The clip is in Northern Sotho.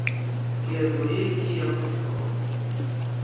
keno ye ke ya mohlolo